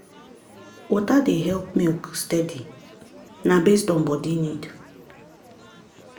water dey help milk steady na based on body need.